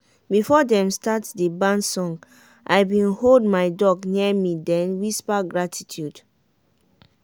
before dem start the barn song i been hold my duck near me den whisper gratitude.